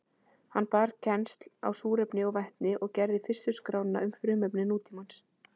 Hann bar kennsl á súrefni og vetni og gerði fyrstu skrána um frumefni nútímans.